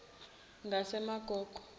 ngasemagogo